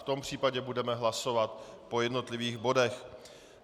V tom případě budeme hlasovat po jednotlivých bodech.